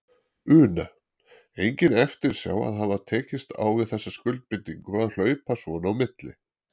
Una: Engin eftirsjá að hafa tekist á við þessa skuldbindingu að hlaupa svona á milli?